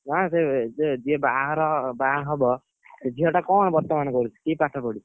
ନା ସେ ଯିଏ ଯିଏ ବାହଘର ବାହା ହବ ସେ ଝିଅ ଟା କଣ ବର୍ତମାନ କରୁଛି କି ପାଠ ପଡିଛି?